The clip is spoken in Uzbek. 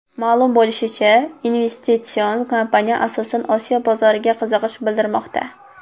Ma’lum bo‘lishicha, investitsion kompaniya asosan Osiyo bozoriga qiziqish bildirmoqda.